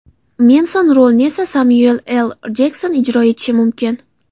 Menson rolini esa Semyuel L. Jekson ijro etishi mumkin.